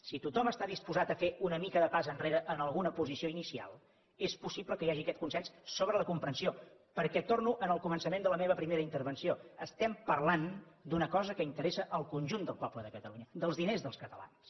si tothom està disposat a fer una mica de pas endarrere en alguna posició inicial és possible que hi hagi aquest consens sobre la comprensió perquè torno al començament de la meva primera intervenció estem parlant d’una cosa que interessa al conjunt del poble de catalunya dels diners dels catalans